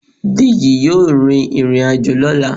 Deji yọọ rín irín-ajo lọla.